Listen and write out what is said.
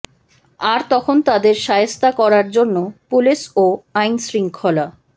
আর তখন তাদের শায়েস্তা করার জন্য পুলিশ ও আইনশৃঙ্খলা